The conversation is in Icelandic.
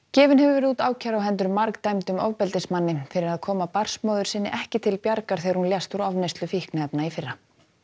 gefin hefur verið út ákæra á hendur ofbeldismanni fyrir að koma barnsmóður sinni ekki til bjargar þegar hún lést úr ofneyslu fíkniefna í fyrra